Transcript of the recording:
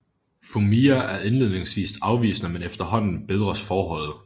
Fumiya er indledningsvis afvisende men efterhånden bedres forholdet